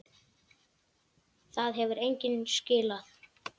Það hefur engu skilað.